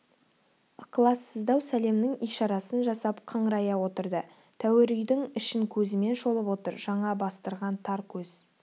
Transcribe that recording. ықылассыздау сәлемнің ишарасын жасап қыңырая отырды тәуір үйдің ішін көзімен шолып отыр жаңа бастырған тар көз